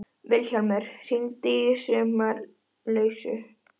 Vilhjálmur, hringdu í Sumarlausu.